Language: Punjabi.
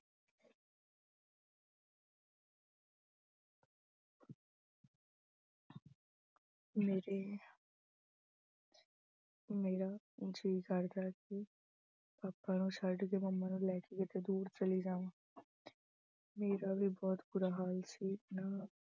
ਮੇਰੀ ਅਹ ਮੇਰਾ ਜੀਅ ਕਰਦਾ ਸੀ papa ਨੂੰ ਛੱਡ ਕੇ mummy ਨੂੰ ਲੈ ਕੇ ਕਿਤੇ ਦੂਰ ਚਲੀ ਜਾਂਵਾ ਮੇਰਾ ਵੀ ਬਹੁਤ ਬੁਰਾ ਹਾਲ ਸੀ। ਨਾ